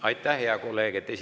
Aitäh, hea kolleeg!